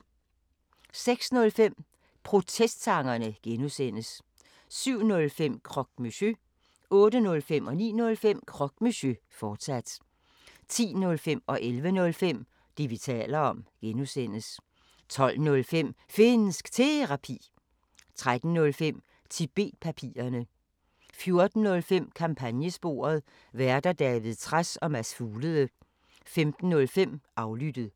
06:05: Protestsangerne (G) 07:05: Croque Monsieur 08:05: Croque Monsieur, fortsat 09:05: Croque Monsieur, fortsat 10:05: Det, vi taler om (G) 11:05: Det, vi taler om (G) 12:05: Finnsk Terapi 13:05: Tibet-papirerne 14:05: Kampagnesporet: Værter: David Trads og Mads Fuglede 15:05: Aflyttet